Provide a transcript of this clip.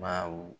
Baw